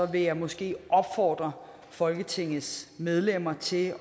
jeg måske opfordre folketingets medlemmer til